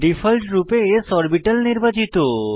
ডিফল্টরূপে s orbital নির্বাচিত